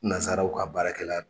Nansaraw ka baarakɛla don.